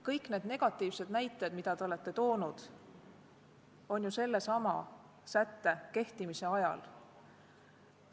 Kõik need negatiivsed näited, mis te olete toonud, on ju tekkinud sellesama sätte kehtimise ajal.